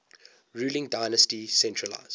ruling dynasty centralised